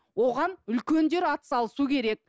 оған үлкендер атсалысу керек